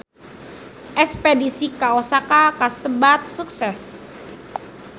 Espedisi ka Osaka kasebat sukses